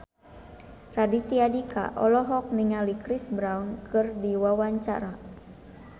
Raditya Dika olohok ningali Chris Brown keur diwawancara